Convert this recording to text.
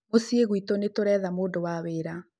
muciĩ gwĩtu nĩtũretha mũndũ wa wĩra